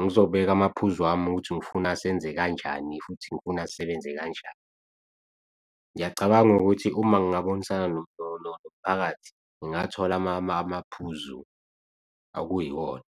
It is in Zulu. ngizobeka amaphuzu ami ukuthi ngifuna senze kanjani futhi ngifuna asebenze kanjani. Ngiyacabanga ukuthi uma ngingabonisana nomphakathi, ngingathola amaphuzu okuyiwona.